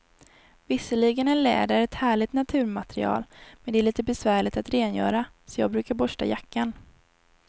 Visserligen är läder ett härligt naturmaterial, men det är lite besvärligt att rengöra, så jag brukar borsta jackan.